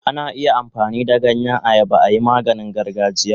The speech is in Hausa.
Ana iya amfani da ganyen ayaba ayi maganin gargajiya.